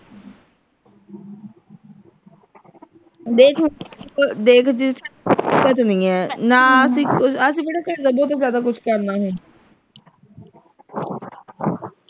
ਦੇਖ ਦੇਖ ਦਿੱਕਤ ਨਹੀਂ ਹੈ ਨਾ ਅਸੀਂ ਬੇਟਾ ਤੋਂ ਜ਼ਿਆਦਾ ਕੁਛ ਕਰਨਾ ਨਹੀਂ